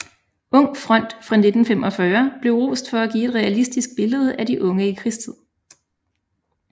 Ung front fra 1945 blev rost for at give et realistisk billede af de unge i krigstid